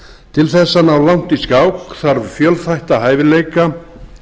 til þess að ná langt í skák þarf fjölþætta hæfileika